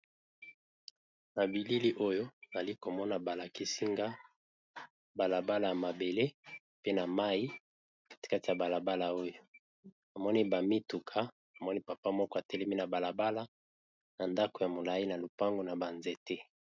Na bilili oyo ali komona balakisinga balabala ya mabele pe na mai kati kati ya balabala oyo amoni bamituka amoni papa moko atelemi na balabala na ndako ya molai na lopango na banzete.